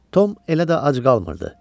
Tom elə də ac qalmırdı.